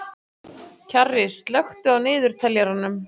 Kjarri, slökktu á niðurteljaranum.